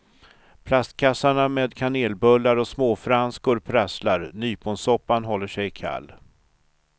Plastkassarna med kanelbullar och småfranskor prasslar, nyponsoppan håller sig kall.